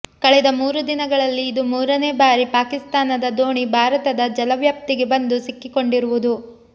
ಕಳೆದ ಮೂರು ದಿನಗಳಲ್ಲಿ ಇದು ಮೂರನೇ ಬಾರಿ ಪಾಕಿಸ್ತಾನದ ದೋಣಿ ಭಾರತದ ಜಲ ವ್ಯಾಪ್ತಿಗೆ ಬಂದು ಸಿಕ್ಕಿಕೊಂಡಿರುವುದು